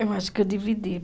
Eu acho que eu dividi.